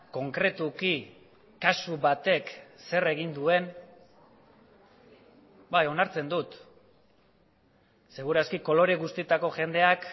konkretuki kasu batek zer egin duen bai onartzen dut seguraski kolore guztietako jendeak